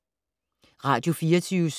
Radio24syv